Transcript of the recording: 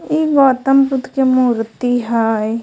ई गौतम बुद्ध के मूर्ति हय।